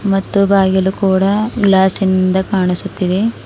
ಮತ್ತು ಬಾಗಿಲು ಕೂಡ ಗ್ಲಾಸಿ ನಿಂದ ಕಾಣಿಸುತ್ತಿದೆ.